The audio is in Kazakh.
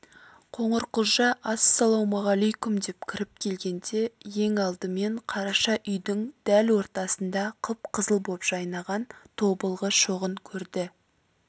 қоңырқұлжа ассалаумағалайкүм деп кіріп келгенде ең алдымен қараша үйдің дәл ортасында қып-қызыл боп жайнаған тобылғы шоғын көрді